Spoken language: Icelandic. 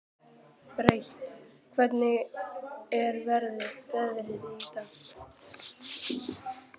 Briet, hvernig er veðrið í dag?